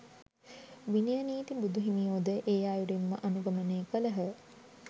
විනය නීති බුදු හිමියෝ ද එ අයුරින් ම අනුගමනය කළහ.